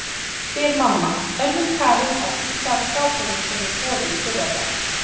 spyr mamma, önnum kafin að þurrka af skápunum sem ég þvoði í fyrradag.